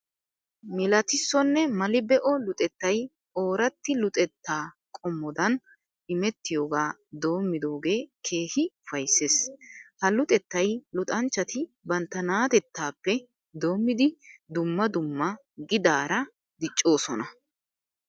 Milatissonne mali be'o luxettay ooratti luxetta qommodan imettiyogaa doommidoogee keehippe ufayssees. Ha luxettay luxanchchati bantta na'atettaappe doommidi dumma dumma gidaara diccoosona.